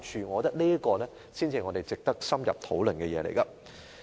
我覺得這才是值得深入討論的事情。